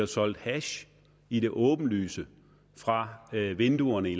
solgt hash i det åbenlyse fra vinduerne i